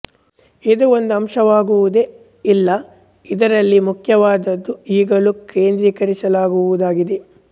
ಇದು ಒಂದು ಅಂಶವಾಗುವುದೆ ಇಲ್ಲ ಇದರಲ್ಲಿ ಮುಖ್ಯವಾದದ್ದು ಈಗಲೂ ಕೇಂದ್ರೀಕರಿಸುವುದಾಗಿದೆ